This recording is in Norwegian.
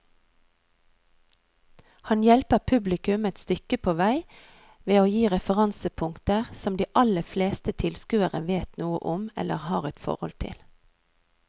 Han hjelper publikum et stykke på vei ved å gi referansepunkter som de aller fleste tilskuere vet noe om eller har et forhold til.